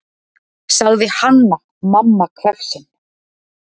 sagði Hanna-Mamma hvefsin.